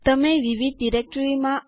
તમે પાસવર્ડ માટે પૂછવામાં આવશે